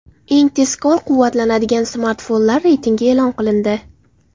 Eng tezkor quvvatlanadigan smartfonlar reytingi e’lon qilindi.